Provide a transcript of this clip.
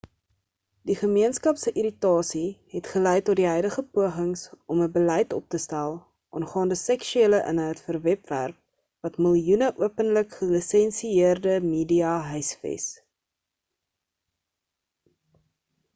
die gemeenskap se irritasie het gelei tot die huidige pogings om 'n beleid op te stel aangaande seksuele inhoud vir webwerf wat miljoene openlik-gelisensieerde media huisves